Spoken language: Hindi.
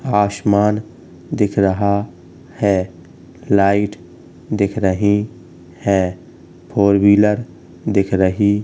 आशमान दिख रहा है| लाइट दिख रही है| फोर व्हीलर दिख रही।